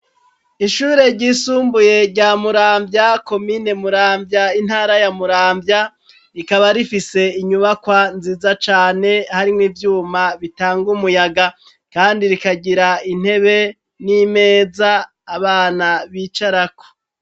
Ishure ryisumbuye rya muramvya komine muramvya intara ya muramvya, rikaba rifise inyubakwa nziza cane harimwo ivyuma bitanga umuyaga kandi rikagira intebe n'imeza abana bicarako.